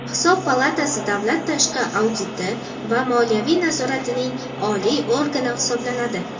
Hisob palatasi davlat tashqi auditi va moliyaviy nazoratining oliy organi hisoblanadi.